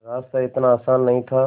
रास्ता इतना आसान नहीं था